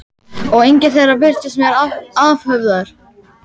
Og enginn þeirra birtist mér afhöfðaður.